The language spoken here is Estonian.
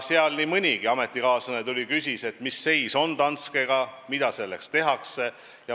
Seal nii mõnigi ametikaaslane tuli juurde ja küsis, mis seis on Danskega ja mida sellega seoses tehakse.